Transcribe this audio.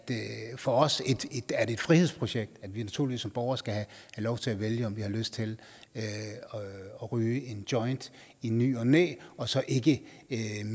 for os et frihedsprojekt at vi naturligvis som borgere skal have lov til at vælge om vi har lyst til at ryge en joint i ny og næ og så ikke